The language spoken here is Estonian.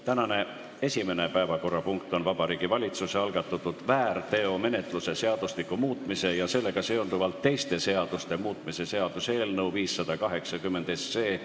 Tänane esimene päevakorrapunkt on Vabariigi Valitsuse algatatud väärteomenetluse seadustiku muutmise ja sellega seonduvalt teiste seaduste muutmise seaduse eelnõu 580 kolmas lugemine.